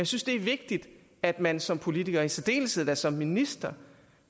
synes det er vigtigt at man som politiker i særdeleshed som minister